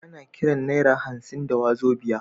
Ana Kiran naira hansin wazobia